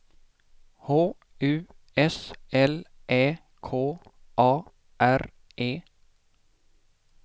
H U S L Ä K A R E